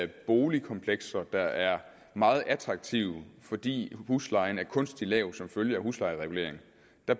de boligkomplekser der er meget attraktive fordi huslejen er kunstigt lav som følge af huslejereguleringen